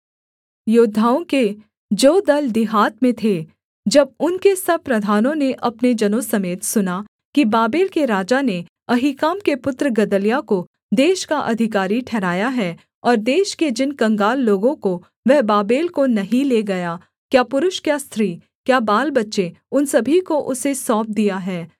योद्धाओं के जो दल दिहात में थे जब उनके सब प्रधानों ने अपने जनों समेत सुना कि बाबेल के राजा ने अहीकाम के पुत्र गदल्याह को देश का अधिकारी ठहराया है और देश के जिन कंगाल लोगों को वह बाबेल को नहीं ले गया क्या पुरुष क्या स्त्री क्या बालबच्चे उन सभी को उसे सौंप दिया है